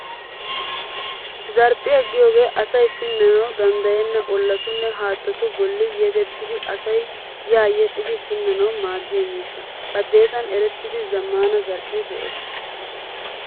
Zarphphiyaa giyogee asay pinnanawu danddayenna olatunne haattatu bolli yegettidi asay a yedhdhidi pinnanawu maaddiya miishsha. Baddeessan erettida zammaana zarphphee de"ees.